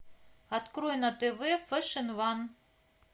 открой на тв фэшн ван